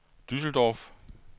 Düsseldorf